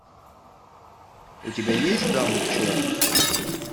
у тебя есть дама в черном